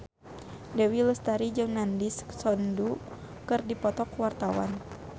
Dewi Lestari jeung Nandish Sandhu keur dipoto ku wartawan